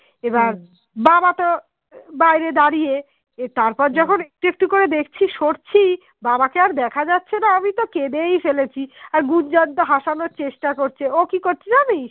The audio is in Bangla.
একটু করে দেখছি সরছি বাবা কে আর দেখা যাচ্ছেনা আমি তো কেঁদেই ফেলেছি আর গুজ্জন তো হাসানোর চেষ্টা করছে ও কি করছে জানিস